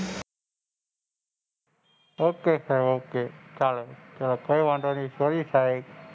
Okay સાહેબ okay ચાલો કોઈ વાંધો નહિ સાહેબ sorry સાહેબ,